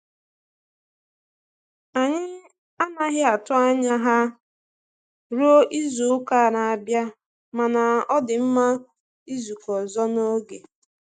Anyị anaghị atụ anya ha ruo izu-uka na-abịa, mana ọ dị mma izukọ ọzọ n'oge.